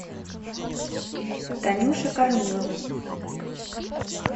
танюше корниловой